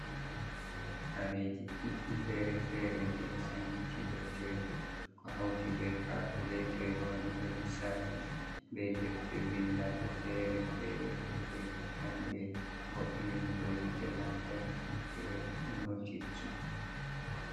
Kareji ɗuɗɗi fere-fereji, ɗo sankiti dow tebur ko hauti be kakuletoyel waɗugo lissafi be defte vindaɗe fere-fereje be jamɗe vo’inirgo yite lamtarki be notirji.